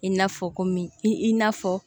I n'a fɔ komi i i n'a fɔ